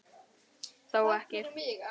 Þó ekki.